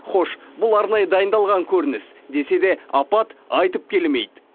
хош бұл арнайы дайындалған көрініс десе де апат айтып келмейді